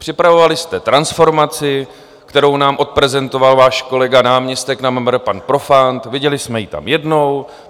Připravovali jste transformaci, kterou nám odprezentoval váš kolega, náměstek na MMR pan Profant, viděli jsme ji tam jednou.